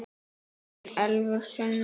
Þín Elfur Sunna.